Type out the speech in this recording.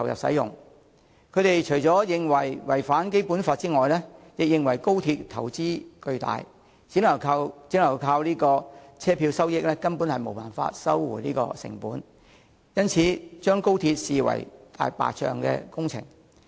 他們除了認為《條例草案》違反《基本法》外，亦認為高鐵投資巨大，只靠車票收益根本無法收回成本，因而把高鐵視為"大白象"工程。